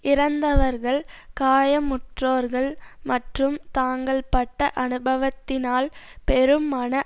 இறந்தவர்கள் காயமுற்றோர்கள் மற்றும் தாங்கள் பட்ட அனுபவத்தினால் பெரும் மன